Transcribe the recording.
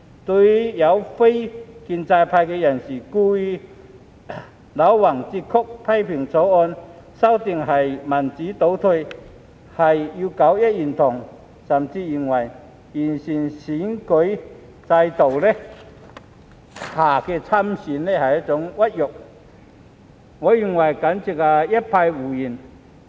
對於有非建制派人士故意戾橫折曲，批評《條例草案》的修訂是民主倒退，是要搞一言堂，甚至認為在經完善的選舉制度下參選是一種屈辱，我認為簡直就是一派胡言。